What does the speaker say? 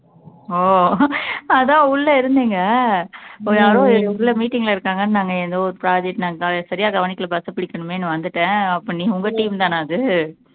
ஓ அதான் உள்ள இருந்தீங்க யாரோ உள்ள meeting ல இருக்காங்கன்னு ஏதோ ஒரு project நான் சரியா கவனிக்கல bus அ புடிக்கணுமேன்னு வந்துட்டேன் அப்போ நீ உங்க team தானா அது